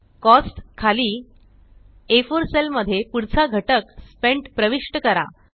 costs खाली आ4 cell मध्ये पुढचा घटक स्पेंट प्रविष्ट करा